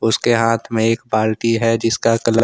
उसके हाथ में एक बाल्टी है जिसका कलर --